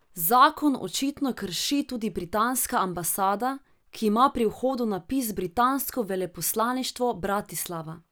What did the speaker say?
Zakon očitno krši tudi britanska ambasada, ki ima pri vhodu napis Britansko veleposlaništvo Bratislava.